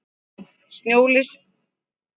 Snjóleysi stafar annað hvort af hlýindum eða þurrkum.